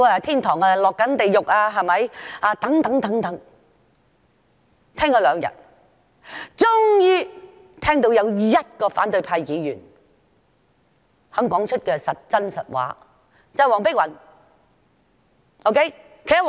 聽了兩天議員發言，終於聽到有1位反對派議員肯說出真話，就是黃碧雲議員。